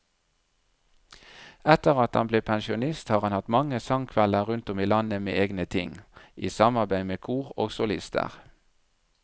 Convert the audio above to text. Etter at han ble pensjonist har han hatt mange sangkvelder rundt om i landet med egne ting, i samarbeid med kor og solister.